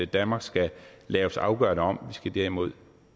danmark skal laves afgørende om vi skal derimod